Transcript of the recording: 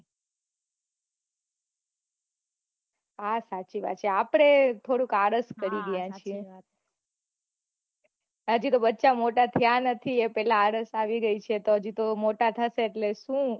હા સાચી વાત છે આપડે થોડુક આળસ કરી રહ્યા છે હજુ તો બચ્ચા મોટા થયા નથી એ પેલા આળસ આવી ગયી છે પછી તો મોટા થશે ત્યારે શું